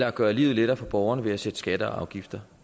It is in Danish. at gøre livet lettere for borgerne ved at sætte skatter og afgifter